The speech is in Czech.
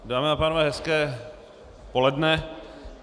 Dámy a pánové, hezké poledne.